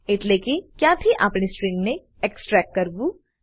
એટલેકે ક્યાંથી આપણે સ્ટ્રીંગ ને એક્સટ્રેક્ટ કરવું